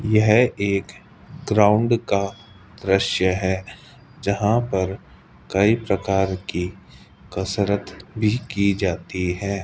यह एक ग्राउंड का दृश्य है जहां पर कई प्रकार की कसरत भी की जाती है।